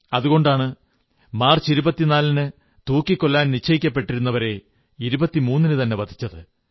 അതുകൊണ്ടാണ് മാർച്ച് 24 നു തൂക്കിക്കൊല്ലാൻ നിശ്ചയിക്കപ്പെട്ടിരുന്നവരെ 23 നു തന്നെ വധിച്ചത്